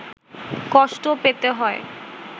কষ্ট পেতে হয়